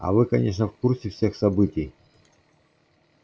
а вы конечно в курсе всех событий